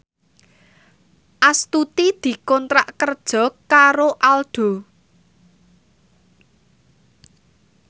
Astuti dikontrak kerja karo Aldo